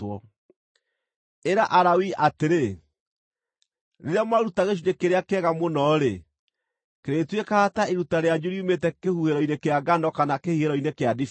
“Ĩra Alawii atĩrĩ, ‘Rĩrĩa mwaruta gĩcunjĩ kĩrĩa kĩega mũno-rĩ, kĩrĩtuĩkaga ta iruta rĩanyu riumĩte kĩhuhĩro-inĩ kĩa ngano kana kĩhihĩro-inĩ kĩa ndibei.